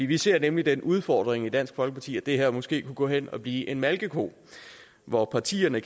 vi ser nemlig den udfordring i dansk folkeparti at det her måske kunne gå hen og blive en malkeko hvor partierne